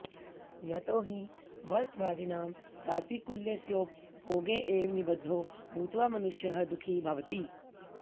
यतो हि वस्त्वादीनां प्रातिकूल्यस्योपभोगे एव निबद्धो भूत्वा मनुष्यः दुःखी भवति